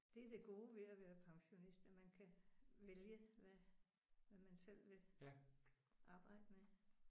Det er det gode ved at være pensionist at man kan vælge hvad hvad man selv vil arbejde med